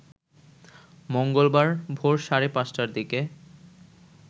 মঙ্গলবার ভোর সাড়ে ৫টার দিকে